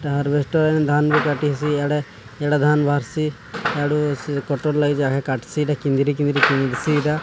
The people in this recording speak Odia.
ହାର୍ଭେଷ୍ଟର ଧାନ କାଟିସ୍ ଏଇଟା ଧାନ ବାହାରିସ୍ ୟାଡୁ କଟର ଲାଗିଚି କିନ୍ଦିରି କିନ୍ଦିରି ଏଟା।